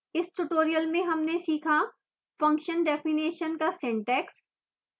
इस tutorial में हमने सीखाfunction definition का सिंटैक्स